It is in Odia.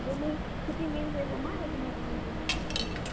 ଯେ ମୁଇଁ ଛୁଟି ନାଇ ହୁଏ ଗୋ ମାଁ, ମୁଇଁ ହେଦିନ ଯିମି ବୋଲି କହିଛେଁ।